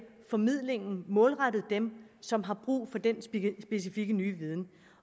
formidlingen målrettet dem som har brug for den specifikke ny viden